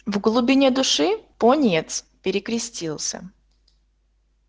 в глубине души пониетс перекрестился